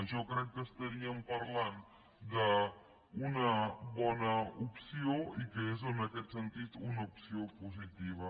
jo crec que parlaríem d’una bona opció i que és en aquest sentit una opció positiva